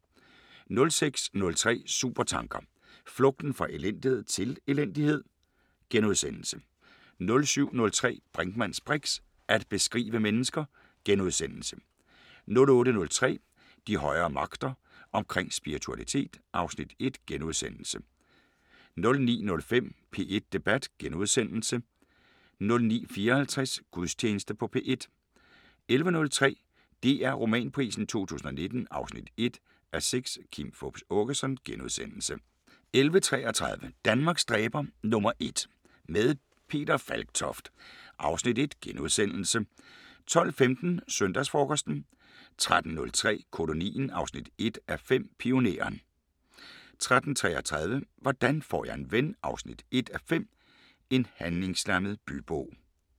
06:03: Supertanker: Flugten fra elendighed – til elendighed? * 07:03: Brinkmanns briks: At beskrive mennesker * 08:03: De højere magter: Omkring spiritualitet (Afs. 1)* 09:05: P1 Debat * 09:54: Gudstjeneste på P1 11:03: DR Romanprisen 2019 1:6 – Kim Fupz Aakeson * 11:33: Danmarks dræber #1 – med Peter Falktoft (Afs. 1)* 12:15: Søndagsfrokosten 13:03: Kolonien 1:5 – Pioneren 13:33: Hvordan får jeg en ven 1:5 – En handlingslammet bybo